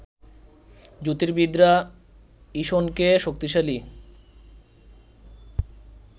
জ্যোতির্বিদরা ইসনকে শক্তিশালী